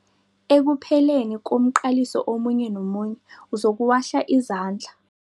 Ekupheleni komqaliso omunye nomunye uzokuwahla izandla.